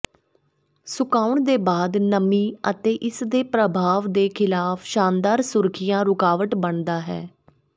ਸੁਕਾਉਣ ਦੇ ਬਾਅਦ ਨਮੀ ਅਤੇ ਇਸ ਦੇ ਪ੍ਰਭਾਵ ਦੇ ਖਿਲਾਫ ਸ਼ਾਨਦਾਰ ਸੁਰੱਖਿਆ ਰੁਕਾਵਟ ਬਣਦਾ ਹੈ